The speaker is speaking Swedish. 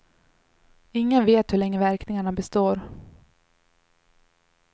Ingen vet hur länge verkningarna består.